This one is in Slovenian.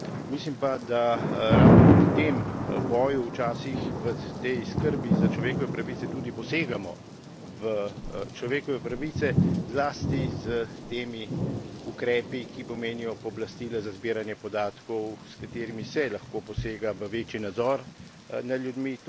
Mislim pa, da ravno pri tem boju včasih, v tej skrbi za človekove pravice, tudi posegamo v človekove pravice, zlasti s temi ukrepi, ki pomenijo pooblastila za zbiranje podatkov, s katerimi se lahko posega v večji nadzor nad ljudmi.